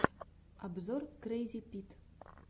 обзор крэйзипит